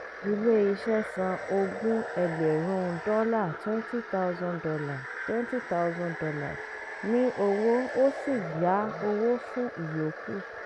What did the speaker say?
ilé iṣẹ́ san ogún ẹgbẹ̀rúń dọ́là twenty thousand dollar twenty thousand dollar ní owó ó sì yá owó fún ìyókù.